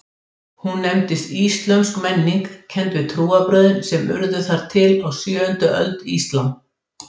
Hún nefndist íslömsk menning, kennd við trúarbrögðin sem urðu til þar á sjöundu öld, íslam.